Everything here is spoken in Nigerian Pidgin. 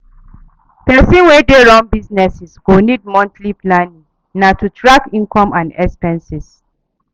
Pesin wey dey run business go need monthly planning na to track income and expenses.